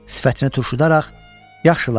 Sifətinə turşudaraq, yaxşı Latitya.